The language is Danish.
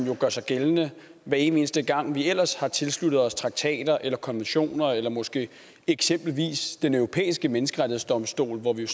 gør sig gældende hver evig eneste gang vi ellers har tilsluttet os traktater eller konventioner eller måske eksempelvis den europæiske menneskrettighedsdomstol hvor vi